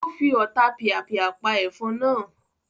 O fi Ọotapìàpìà pa efon naa